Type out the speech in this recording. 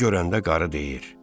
Bunu görəndə qarı deyir: